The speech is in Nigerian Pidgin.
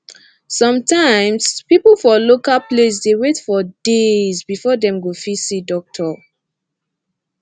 sum tyms pipu for local place dey wait for days before dem go fit see doctor